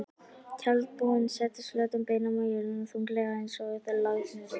Tjaldbúinn settist flötum beinum á jörðina, þunglega einsog langþreyttur.